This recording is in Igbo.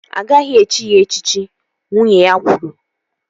Agaghị echi ya echichi! Nwunye ya kwuru